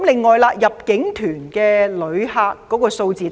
此外，入境團旅客數字大跌。